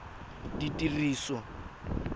ditiriso